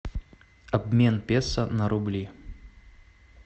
обмен песо на рубли